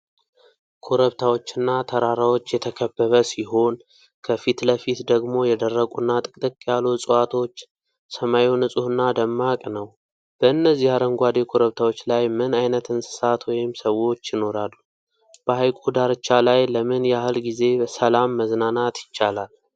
ኮረብታዎችና ተራራዎች የተከበበ ሲሆን፣ ከፊት ለፊት ደግሞ የደረቁና ጥቅጥቅ ያሉ ዕፅዋቶች ፤ ሰማዩ ንጹህና ደማቅ ነው። በእነዚህ አረንጓዴ ኮረብታዎች ላይ ምን ዓይነት እንስሳት ወይም ሰዎች ይኖራሉ? በሐይቁ ዳርቻ ላይ ለምን ያህል ጊዜ ሰላም መዝናናት ይቻላል?